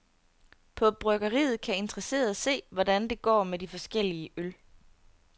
På bryggeriet kan interesserede se, hvordan det går med de forskellige øl.